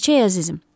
İçək, əzizim.